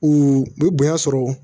U bɛ bonya sɔrɔ